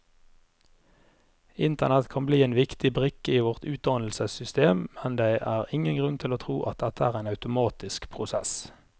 Internett kan bli en viktig brikke i vårt utdannelsessystem, men det er ingen grunn til å tro at dette er en automatisk prosess.